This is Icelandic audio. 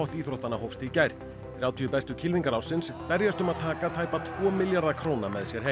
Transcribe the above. íþróttanna hófst í gær þrjátíu bestu kylfingar ársins berjast um að taka tæpa tvo milljarða króna með sér heim